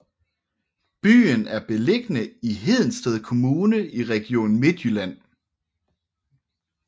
Byen er beliggende i Hedensted Kommune i Region Midtjylland